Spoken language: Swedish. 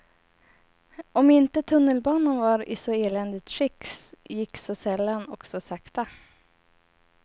Om inte tunnelbanan var i så eländigt skick, gick så sällan och så sakta.